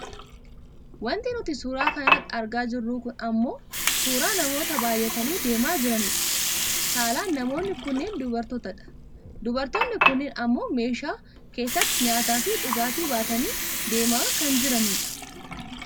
Wanti nuti suuraa kana irratti argaa jirru kun ammoo suuraa namoota baayyatanii deemaa jiranidha. Saalaan namoonni kunneen dubartoota dha. Dubartoonni kunneen ammoo meeshaa keessatti nyaataafi dhugaatii baatanii deemaa kan jiranidha.